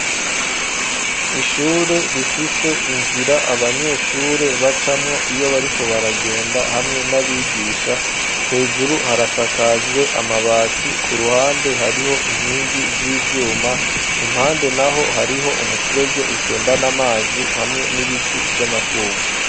Ishure rifise inzira abanyeshure bacamwo iyo bariko baragenda hamwe n'abigisha, hejuru harasakajwe amabati ku ruhande hariho inkingi z'ivyuma impande naho hariho umufurege utembana amazi hamwe n'ibiti vy'amashugwe.